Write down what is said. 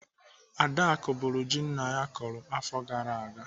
Adaku bụrụ ji nna ya kụrụ afọ gara aga.